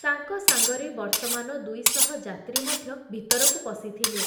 ତାଙ୍କ ସାଂଗରେ ବର୍ତ୍ତମାନ ଦୁଇଶହ ଯାତ୍ରୀ ମଧ୍ୟ ଭିତରକୁ ପଶିଥିଲେ ।